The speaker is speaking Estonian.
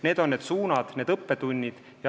Need on need suunad, need õppetunnid.